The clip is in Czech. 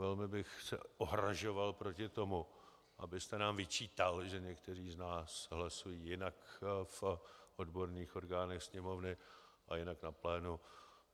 Velmi bych se ohrazoval proti tomu, abyste nám vyčítal, že někteří z nás hlasují jinak v odborných orgánech Sněmovny a jinak na plénu.